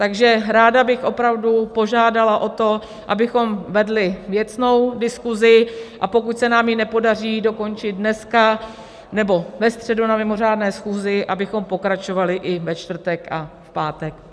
Takže ráda bych opravdu požádala o to, abychom vedli věcnou diskuzi, a pokud se nám ji nepodaří dokončit dneska nebo ve středu na mimořádné schůzi, abychom pokračovali i ve čtvrtek a v pátek.